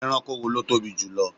Ẹranko wo ló tóbi jù lọ?